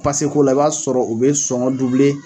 Pase ko la, i b'a sɔrɔ u bɛ sɔngɔ